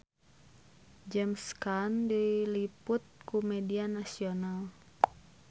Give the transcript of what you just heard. James Caan diliput ku media nasional